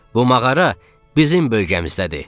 Bu mağara bizim bölgəmizdədir.